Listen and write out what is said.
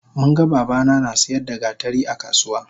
Munga babana nasiyar da gatari akasuwa